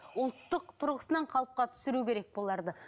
ұлттық тұрғысынан қалыпқа түсіру керек бұларды